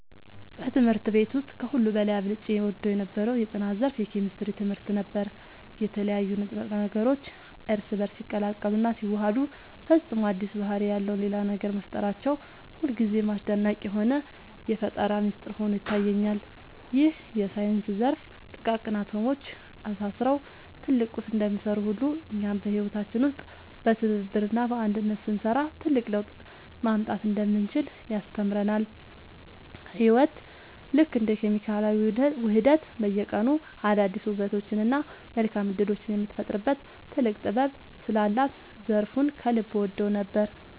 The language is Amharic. በትምህርት ቤት ውስጥ ከሁሉ በላይ አብልጬ እወደው የነበረው የጥናት ዘርፍ የኬሚስትሪ ትምህርት ነበር። የተለያዩ ንጥረ ነገሮች እርስ በእርስ ሲቀላቀሉና ሲዋሃዱ ፈጽሞ አዲስ ባህሪ ያለው ሌላ ነገር መፍጠራቸው ሁልጊዜም አስደናቂ የሆነ የፈጠራ ሚስጥር ሆኖ ይታየኛል። ይህ የሳይንስ ዘርፍ ጥቃቅን አቶሞች ተሳስረው ትልቅ ቁስ እንደሚሰሩ ሁሉ፣ እኛም በህይወታችን ውስጥ በትብብርና በአንድነት ስንሰራ ትልቅ ለውጥ ማምጣት እንደምንችል ያስተምረናል። ህይወት ልክ እንደ ኬሚካላዊ ውህደት በየቀኑ አዳዲስ ውበቶችንና መልካም እድሎችን የምትፈጥርበት ጥልቅ ጥበብ ስላላት ዘርፉን ከልብ እወደው ነበር።